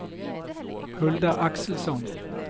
Hulda Axelsson